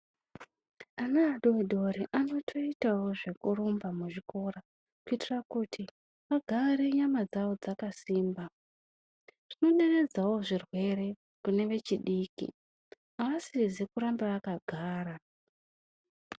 Ana adodori anotoitawo zvekurumba muzvikora kuitira kuti agarenyama dzavo dzakasimba. Zvinoderedzawo zvirwere kune vechidiki, aasizi kuramba akagara.